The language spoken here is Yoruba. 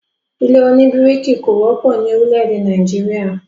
ilé òní bíríkì kò wọ́pọ̀ ni orílè-èdè Nàìjíríà